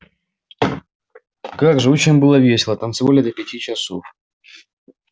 как же очень было весело танцевали до пяти часов